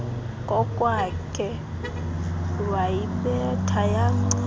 kokwakhe wayibetha yancinci